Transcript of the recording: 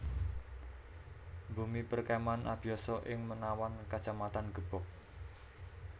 Bumi Perkemahan Abiyoso ing Menawan Kacamatan Gebog